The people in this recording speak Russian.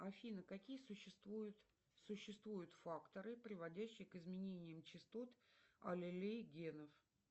афина какие существуют существуют факторы приводящие к изменениям частот аллелей генов